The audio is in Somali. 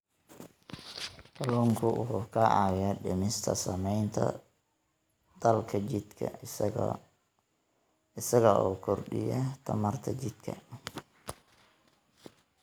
Kalluunku waxa uu caawiyaa dhimista saamaynta daalka jidhka isaga oo kordhiya tamarta jidhka.